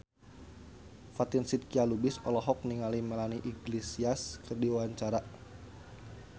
Fatin Shidqia Lubis olohok ningali Melanie Iglesias keur diwawancara